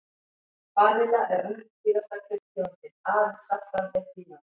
Vanilla er önnur dýrasta kryddtegundin, aðeins saffran er dýrara.